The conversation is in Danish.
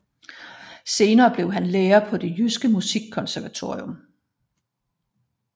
Senere blev han lærer på Det Jyske Musikkonservatorium